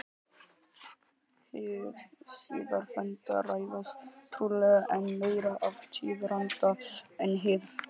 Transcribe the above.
Hið síðarnefnda ræðst trúlega enn meira af tíðaranda en hið fyrra.